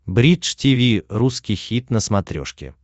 бридж тиви русский хит на смотрешке